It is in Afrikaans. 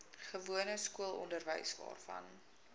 gewone skoolonderwys waarvan